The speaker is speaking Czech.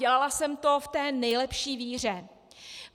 Dělala jsem to v té nejlepší víře.